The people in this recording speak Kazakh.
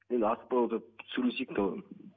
енді асықпай отырып сөйлесейік те оны